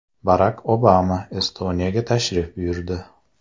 Barak Obama Estoniyaga tashrif buyurdi.